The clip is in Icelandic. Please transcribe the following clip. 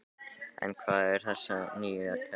En hvað er að þessu nýja kerfi?